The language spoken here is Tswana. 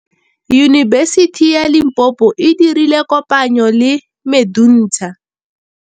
Yunibesiti ya Limpopo e dirile kopanyô le MEDUNSA.